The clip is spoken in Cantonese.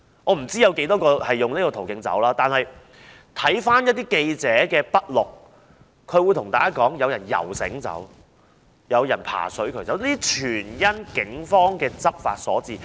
我不知道有多少人循此途徑離開，但從記者的筆錄可知，當時有人游繩或爬水渠離開，這些情況全因警方執法所致。